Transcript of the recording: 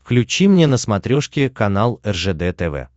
включи мне на смотрешке канал ржд тв